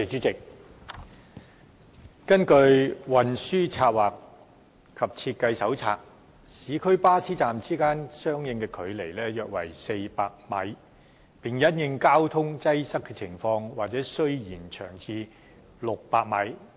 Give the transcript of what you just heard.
根據《運輸策劃及設計手冊》，市區巴士站之間應相距約400米，並因應交通擠塞情況或需延長至600米。